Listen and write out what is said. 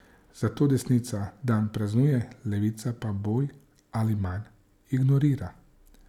Zato desnica dan praznuje, levica pa bolj ali manj ignorira.